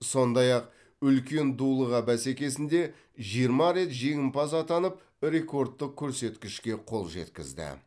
сондай ақ үлкен дулыға бәсекесінде жиырма рет жеңімпаз атанып рекордтық көрсеткішке қол жеткізді